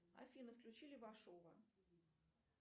афина включи левашова